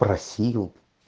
спросил